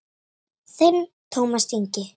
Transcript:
Þinn Tómas Ingi.